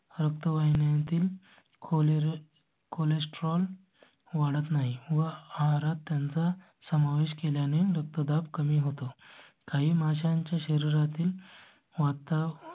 रक्तवाहिन्यांतील खोली cholesterol वाढत नाही व आहारात त्यांचा समावेश केल्या ने रक्तदाब कमी होतो. काही माशांच्या शरीरातील वाता.